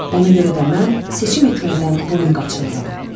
Ona görə də mən seçim etməkdən boyun qaçırıram.